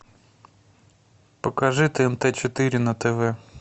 покажи тнт четыре на тв